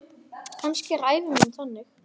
Kannski er ævi mín þannig.